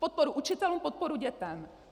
Podporu učitelům, podporu dětem.